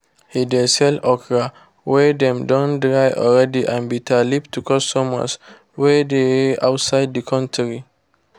he de sell okra wey dem don dry already and bitterleaf to customers wey dey outside the country